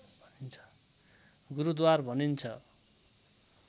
गुरूद्वार भनिन्छ